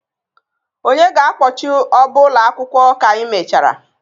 Onye ga-akpọchi ọbá akwụkwọ ụlọ akwụkwọ ka anyị mechara?